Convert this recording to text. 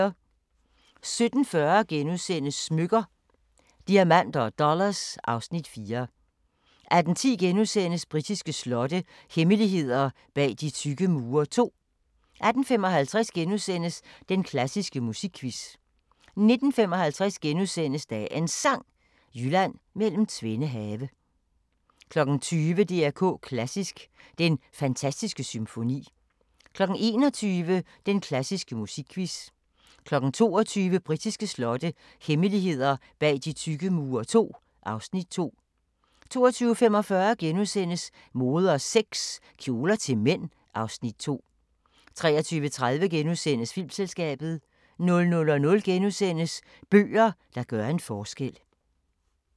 17:40: Smykker – Diamanter & Dollars (Afs. 4)* 18:10: Britiske slotte – hemmeligheder bag de tykke mure II * 18:55: Den klassiske musikquiz * 19:55: Dagens Sang: Jylland mellem tvende have * 20:00: DR K Klassisk: Den fantastiske symfoni 21:00: Den klassiske musikquiz 22:00: Britiske slotte – hemmeligheder bag de tykke mure II (Afs. 2) 22:45: Mode og sex - Kjoler til mænd (Afs. 2)* 23:30: Filmselskabet * 00:00: Bøger, der gør en forskel – Michael Strunge *